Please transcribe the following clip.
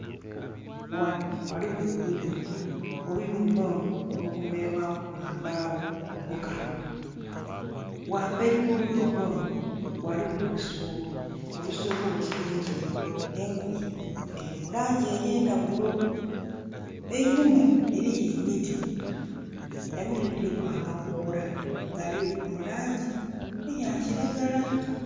Ghano ghaligho oluyumba, oluyumba luno lukomerere lwaku lwa mbagho nkalu. Ghamberi gho oluyumba luno ghaligho olusubo, olusubo luliku engoye, engoye dhiri mulangi eye ndhaghulo. Einhuma eriyo emiti, emiti edho dhiriku amakoola gali mu langi eya kilagala